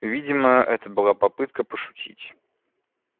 видимо это была попытка пошутить